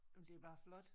Jamen det er bare flot